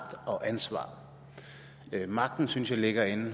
og ansvar magten synes jeg ligger i